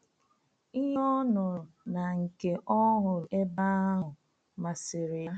Ihe ọ nụrụ na nke ọ hụrụ ebe ahụ masịrị ya.